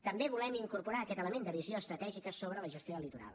també volem incorporar aquest element de visió estratègica sobre la gestió del litoral